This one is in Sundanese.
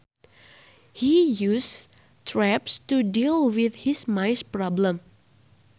He uses traps to deal with his mice problem